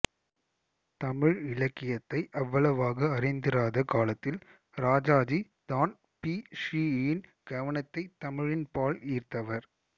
தமிழ் இலக்கியத்தை அவ்வளவாக அறிந்திராத காலத்தில் ராஜாஜி தான் பி ஸ்ரீ யின் கவனத்தை தமிழின் பால் ஈர்த்தவர்